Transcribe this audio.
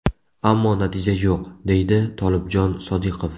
Ammo natija yo‘q”, deydi Tolibjon Sodiqov.